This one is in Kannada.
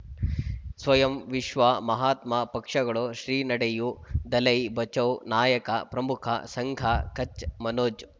ಸ್ವಯಂ ವಿಶ್ವ ಮಹಾತ್ಮ ಪಕ್ಷಗಳು ಶ್ರೀ ನಡೆಯೂ ದಲೈ ಬಚೌ ನಾಯಕ ಪ್ರಮುಖ ಸಂಘ ಕಚ್ ಮನೋಜ್